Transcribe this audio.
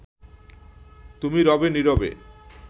তুমি রবে নীরবে